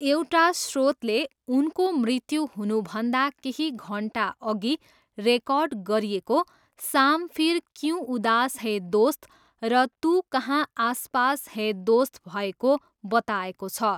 एउटा स्रोतले उनको मृत्यु हुनुभन्दा केही घन्टाअघि रेकर्ड गरिएको शाम फिर क्यूँ उदास है दोस्त र तू कहाँ आस पास है दोस्त भएको बताएको छ।